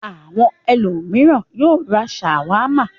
Àwọn ẹlòmíràn yóò ra ṣàwámà.